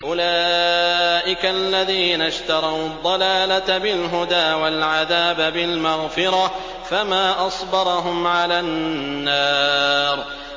أُولَٰئِكَ الَّذِينَ اشْتَرَوُا الضَّلَالَةَ بِالْهُدَىٰ وَالْعَذَابَ بِالْمَغْفِرَةِ ۚ فَمَا أَصْبَرَهُمْ عَلَى النَّارِ